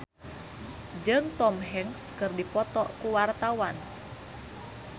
David Danu Danangjaya jeung Tom Hanks keur dipoto ku wartawan